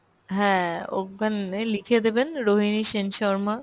হ্যাঁ ওখানে লিখে দেবেন রোহিণী সেন শর্মা।